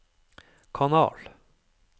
kanal